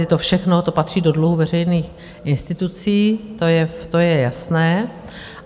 Je to všechno, to patří do dluhu veřejných institucí, to je jasné.